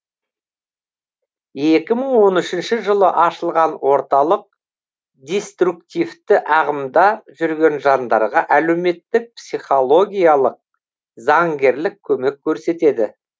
екі мың он үшінші жылы ашылған орталық деструктивті ағымда жүрген жандарға әлеуметтік психологиялық заңгерлік көмек көрсетеді